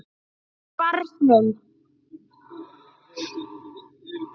Á barnum!